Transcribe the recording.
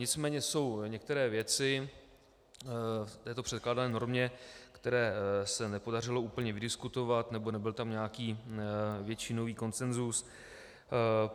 Nicméně jsou některé věci v této předkládané normě, které se nepodařilo úplně vydiskutovat nebo nebyl tam nějaký většinový konsenzus.